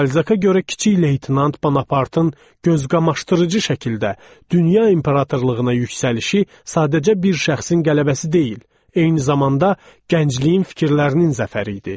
Balzaka görə kiçik leytenant Bonapartın gözqamaşdırıcı şəkildə dünya imperatorluğuna yüksəlişi sadəcə bir şəxsin qələbəsi deyil, eyni zamanda gəncliyin fikirlərinin zəfəri idi.